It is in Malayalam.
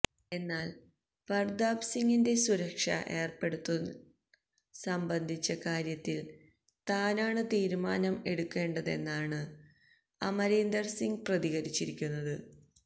എന്നാല് പര്താപ് സിങിന് സുരക്ഷ ഏര്പ്പെടുത്തന്നത് സംബന്ധിച്ച കാര്യത്തില് താനാണ് തീരുമാനം എടുക്കേണ്ടതെന്നാണ് അമരീന്ദര് സിങ് പ്രതികരിച്ചിരിക്കുന്നത്